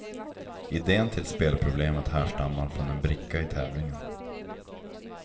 Idén till spelproblemet härstammar från en bricka i tävlingen.